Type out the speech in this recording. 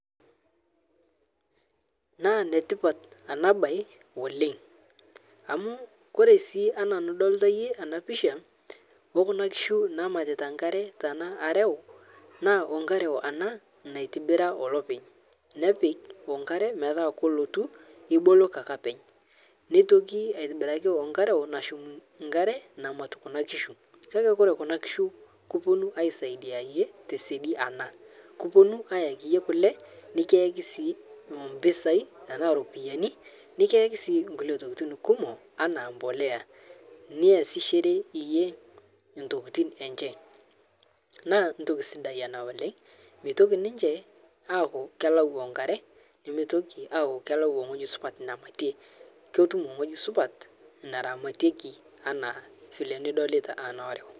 Naa netipaat ana bayi oleng, amu kore sii ana nidolita iyee ana pishaa okuna nkishuu naamiritaa nkaare tana areuu naa onkareu ana naitibiraa olepeeny' nepiik onkaare meetai kolotuu ibooloki ake apeeny'. Neitokii aitibiraki onkaare onashuum namatuum kuna nkishuu. Kaki kore kuna nkishuu kopoo aisaidai iyee te shaadi ana. Kopoonu ayaaki iyee kulee nikiaki sii mpisai tana ropiani. Nikiyaaki sii nkulee tookitin kumook ana mbolea niasishore iyee ntokitin enchee. Naa ntokii sidai ana oleng meitooki ninchee aaku keelau onkaare , nimeetoki aaku kelau ng'oji supaat naimatee. Kotuum ng'oji supaat naramatieki ana file nidolita ana aare.